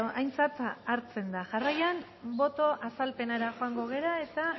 aintzat hartzen da jarraian boto azalpenera joango gara eta